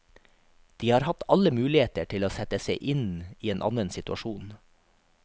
De har hatt alle muligheter til å sette seg i en annen situasjon.